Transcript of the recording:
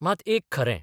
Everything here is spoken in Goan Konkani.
मात एक खरें.